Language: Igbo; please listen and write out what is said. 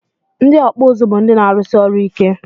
Ndị ọkpụ ụzụ bụ ndị na-arụsi ọrụ ike